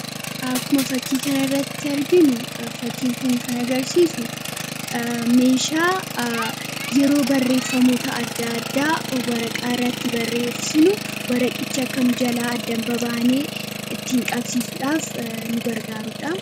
Akkuma fakkii kanarratti arginu, fakiin kun kan agarsiisuu messhaa yeroo barreefamoota adda addaa waraqaa irratti barreessinu waraqichi akka nu jalaa adda hin babaanee ittiin qabsiisuudhaaf nu gargaarudha.